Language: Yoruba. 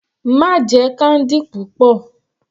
Má jẹ candy púpọ̀.